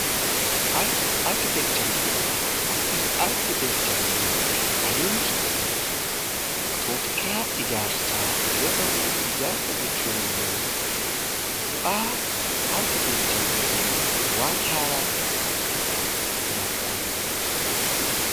Arkiteekcharii fi ijaarsa Arkiteekchariin adeemsa yookiin tooftaa ijaarsa yoo ta'u, ijaarsa jechuun bu'aa arkiteekcharii ta'ee waan haaraa tokko kalaquudhaan yookaan ijaaruudhaan jechuudha.